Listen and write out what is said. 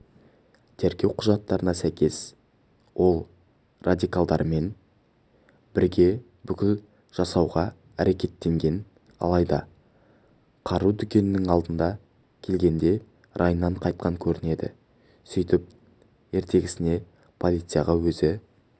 тергеу құжаттарына сәйкес ол радикалдармен бірге бүлік жасауға әрекеттенген алайда қару дүкенінің алдына келгенде райынан қайтқан көрінеді сөйтіп ертесіне полицияға өзі